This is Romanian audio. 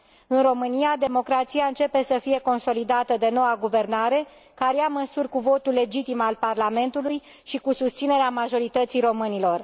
În România, democrația începe să fie consolidată de noua guvernare, care ia măsuri cu votul legitim al Parlamentului și cu susținerea majorității românilor.